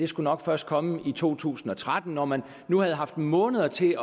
skulle nok først komme i to tusind og tretten når man havde haft måneder til